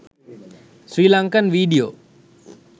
sri lankan video